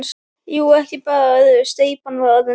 Jú, ekki bar á öðru, steypan var orðin þurr.